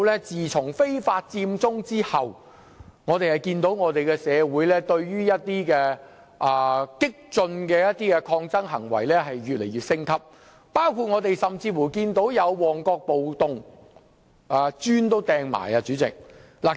自從非法佔中後，我們看到社會上激進的抗爭行為逐步升級，包括發生了旺角暴動，當時更有人投擲磚頭。